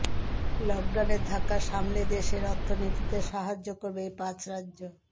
লকডাউনের ধাক্কা সামলে দেশের অর্থনীতিতে সাহায্য করবে এই পাঁচ রাজ্য